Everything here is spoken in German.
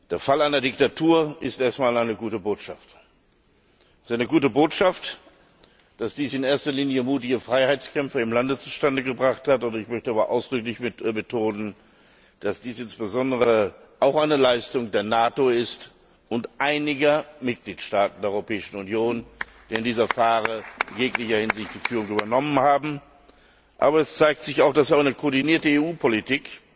Der Fall einer Diktatur ist erst einmal eine gute Botschaft. Es ist eine gute Botschaft, dass dies in erster Linie mutige Freiheitskämpfer im Lande zustande gebracht haben. Ich möchte aber ausdrücklich betonen, dass dies insbesondere auch eine Leistung der NATO und einiger Mitgliedstaaten der Europäischen Union ist, die in dieser Frage in jeglicher Hinsicht die Führung übernommen haben. Aber es zeigt sich auch, dass eine koordinierte EU Politik,